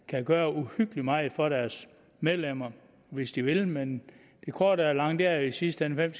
kan gøre uhyggelig meget for deres medlemmer hvis de vil men det korte af det lange er i sidste ende hvem